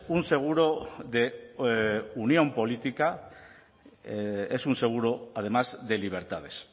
un seguro de unión política es un seguro además de libertades